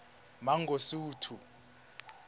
mangosuthu